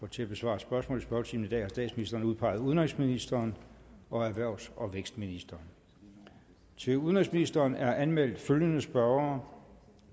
til at besvare spørgsmål i spørgetimen i dag har statsministeren udpeget udenrigsministeren og erhvervs og vækstministeren til udenrigsministeren er anmeldt følgende spørgere